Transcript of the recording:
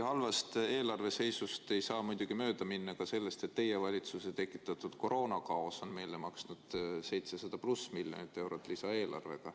Halvast eelarveseisust rääkides ei saa muidugi mööda minna ka sellest, et teie valitsuse tekitatud koroonakaos on meile maksma läinud lisaeelarvega üle 700 miljoni euro.